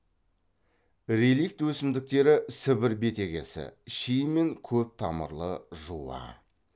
реликт өсімдіктері сібір бетегесі ши мен көп тамырлы жуа